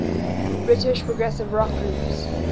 british progressive rock groups